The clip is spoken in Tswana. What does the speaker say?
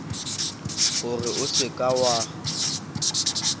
gore o seka w a